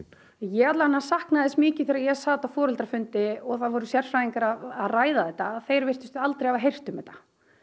ég allavega saknaði þess mikið þegar ég sat á foreldrafundi og það voru sérfræðingar að ræða þetta að þeir virtust aldrei hafa heyrt um þetta